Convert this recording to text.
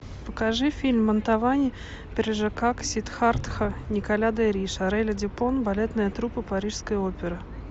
покажи фильм мантовани прельжокак сиддхартха николя де риш орели дюпон балетная труппа парижской оперы